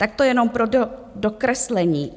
Tak to jenom pro dokreslení.